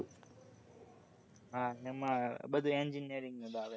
હા એમાં બધું engineering નું જ આવે